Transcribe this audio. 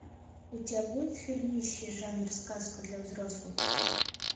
у тебя будет фильмище жанр сказка для взрослых